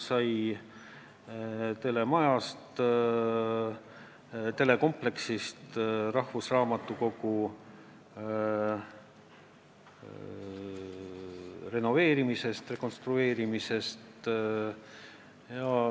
Ka telemajast, telekompleksist ja rahvusraamatukogu renoveerimisest, rekonstrueerimisest sai räägitud.